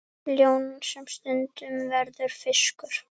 Ljón sem stundum verður fiskur.